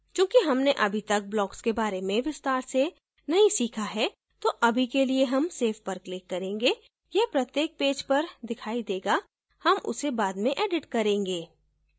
चूंकि हमने अभी तक blocks के बारे में विस्तार से नही सीखा है तो अभी के लिए हम save पर click करेंगे यह प्रत्येक पेज पर दिखाई देगा हम उसे बाद में edit करेंगे